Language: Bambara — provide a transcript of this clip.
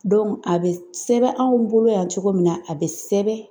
a bɛ sɛbɛn anw bolo yan cogo min na, a be sɛbɛn